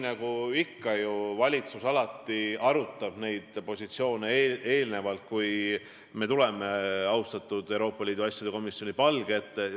Nagu ikka, valitsus arutab neid positsioone, enne kui me tuleme austatud Euroopa Liidu asjade komisjoni palge ette.